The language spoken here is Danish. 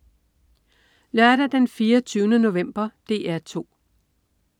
Lørdag den 24. november - DR 2: